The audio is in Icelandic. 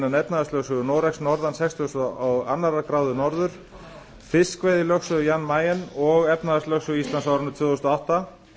innan efnahagslögsögu noregs norðan fertugasta og annarrar gráðu norður fiskveiðilögsögu jan mayen og efnahagslögsögu íslands á árinu tvö þúsund og átta